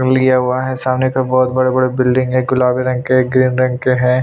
न लिया हुआ है सामने का बहुत बड़े-बड़े बिल्डिंग है गुलाबी रंग केग्रीन रंग के है।